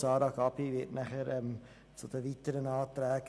Grossrätin Gabi spricht dann zu den weiteren Anträgen.